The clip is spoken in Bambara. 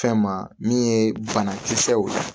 Fɛn ma min ye banakisɛw